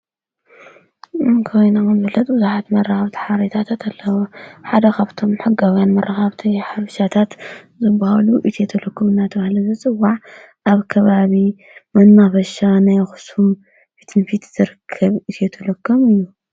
ኣብ ከባቢና ከም ዝፈለጥ ብዙሓት መረከብቱ ሓበሬታታት ኣለወ። ሓደ ኻብቶም ሕጋውያን መራከብቲ ሓበሬታታት ዘብሃሉ እትየተለኩምናተሃለ ዘጽዋዕ ኣብ ከባቢ መናፍሻ ናይኹስም ፊትንፊት ዘርክብ እትየተለከም እዩ።